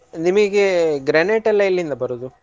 ನಿಮಿಗೆ granite ಯೆಲ್ಲ ಎಲ್ಲಿಂದ ಬರೋದು.